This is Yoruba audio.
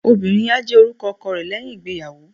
obìnrín a jè orúkọ ọkọ re leyín ìgbéyàwó